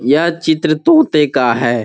यह चित्र तोते का है|